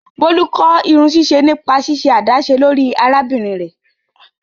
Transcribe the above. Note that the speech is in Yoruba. Bolu kọ irunsiṣe nipa ṣiṣe adaṣe lori arabinrin rẹ.